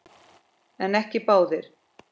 En ekki báðir.